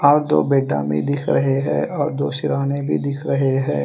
और दो बेडा में दिख रहे है और दो सिरहाने भी दिख रहे है।